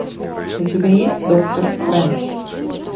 у тебя есть доктор стрэндж